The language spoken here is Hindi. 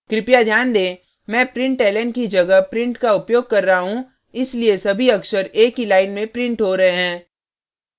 कृपया ध्यान दें मैं println की जगह print का उपयोग कर रहा हूँ इसलिए सभी अक्षर एक ही line में print हो रहे हैं